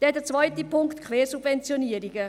Dann der zweite Punkt, Quersubventionierungen